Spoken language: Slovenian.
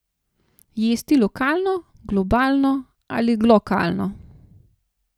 Jesti lokalno, globalno ali glokalno?